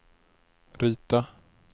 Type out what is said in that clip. rita